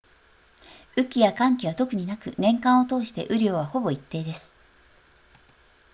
雨季や乾季は特になく年間を通して雨量はほぼ一定です